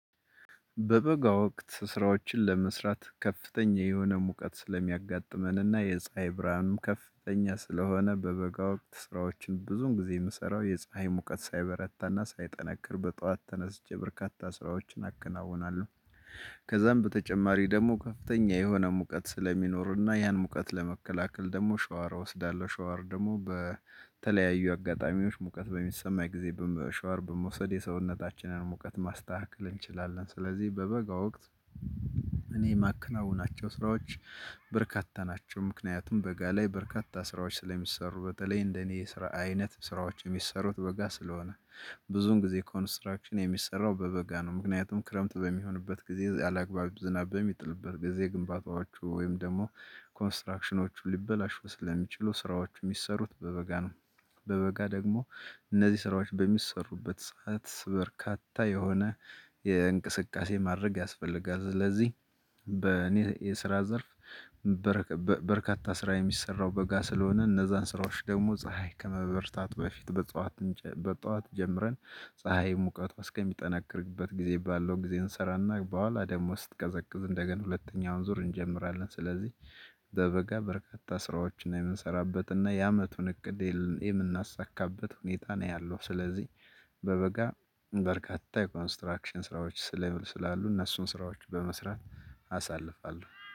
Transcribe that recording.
በበጋ ወቅት ስራዎችን ለመስራት ከፍተኛ የሆነ ሙቀት ስለሚያጋጥመን እና የፀሀይ ብርሃኑም ከፍተኛ ስለሆነ በበጋ ወቅት ስራዎችን ብዙውን ጊዜ የምሰራው የፀሀይ ሙቀት ሳይበረታና ሳይጠነክር በጧት ተነስቼ በርካታ ስራዎችን አከናውናለሁ። ከዛም በተጨማሪ ደግሞ ከፍተኛ የሆነ ሙቀት ስለሚኖርና ያን ሙቀት ለመከላከል ደግሞ ሻወር እወስዳለሁ ሻወር ደግሞ በተለያዩ አጋጣሚዎች ሙቀት በሚሰማኝ ጊዜ በመ ሻወር በመውሰድ የሰውነታችንን ሙቀት ማስተካከል እንችላለን። ስለዚህ በበጋ ወቅት እኔ የማከናውናቸው ስራዎች በርካታ ናቸው። ምክንያቱም በጋ ላይ በርካታ ስራዎች ስለሚሰሩ በተለይ እንደኔ የስራ አይነት ስራዎች የሚሰሩት በጋ ስለሆነ ብዙን ጊዜ ኮንስትራክሽን የሚሰራው በበጋ ነው። ምክንያቱም ክረምት በሚሆንበት ጊዜ ያላግባብ ዝናብ በሚጥልበት ጊዜ ግንባታዎቹ ወይም ደግሞ ኮንስትራክሽኖቹ ሊበላሹ ስለሚችሉ ስራዎቹ የሚሰሩት በበጋ ነው። በበጋ ደግሞ እነዚህ ስራዎች በሚሰሩበት ሰዓት በርካታ የሆነ የእንቅስቃሴ ማድረግ ያስፈልጋል። ስለዚህ በእኔ የስራ ዘርፍ። በርካታ ስራ የሚሰራው በጋ ስለሆነ እነዛን ስራዎች ደግሞ ፀሀይ ከመበርታት በፊት በጠዋት በጠዋት ጀምረን ፀሀይ ሙቀቷ እስከሚጠነክርበት ጊዜ ባለው ጊዜ እንሰራና በኋላ ደግሞ ስትቀዘቅዝ እንደገን ሁለተኛውን ዙር እንጀምራለን። ስለዚህ በበጋ በርካታ ስራዎችን የምንሰራበትና የአመቱን እቅድ የምናሳካበት ሁኔታ ነው ያለው። ስለዚህ በበጋ በርካታ የኮንስትራክሽን ስራዎች ስለ ስላሉ እነሱን ስራዎች በመስራት አሳልፋለሁ